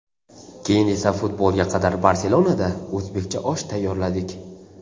Keyin esa futbolga qadar Barselonada o‘zbekcha osh tayyorladik.